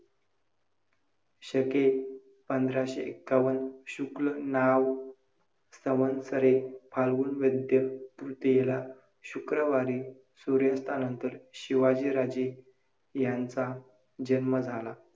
शके पंधराशे एक्कावन्न शुक्ल नाम संवत्सरे, फाल्गुन वद्य तृतीयेला, शुक्रवारी सूर्यास्तानंतर शिवाजीराजे यांचा जन्म झाला.